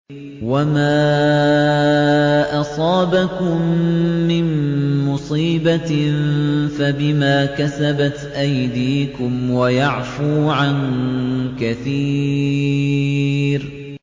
وَمَا أَصَابَكُم مِّن مُّصِيبَةٍ فَبِمَا كَسَبَتْ أَيْدِيكُمْ وَيَعْفُو عَن كَثِيرٍ